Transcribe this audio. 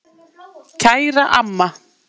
Kæra amma.